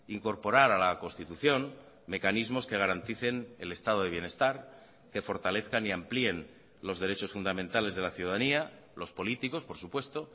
incorporar a la constitución mecanismos que garanticen el estado de bienestar que fortalezcan y amplíen los derechos fundamentales de la ciudadanía los políticos por supuesto